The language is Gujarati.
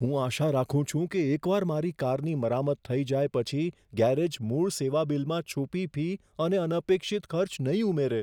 હું આશા રાખું છું કે એકવાર મારી કારની મરામત થઈ જાય પછી ગેરેજ મૂળ સેવાબિલમાં છુપી ફી અને અનપેક્ષિત ખર્ચ નહીં ઉમેરે.